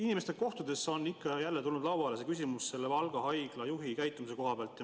Inimestega kohtudes on ikka ja jälle tulnud lauale küsimus Valga Haigla juhi käitumise kohta.